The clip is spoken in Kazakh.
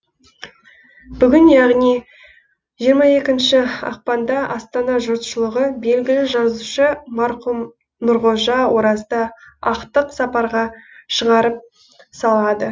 бүгін яғни жиырма екінші ақпанда астана жұртшылығы белгілі жазушы марқұм нұрғожа оразды ақтық сапарға шығарып салады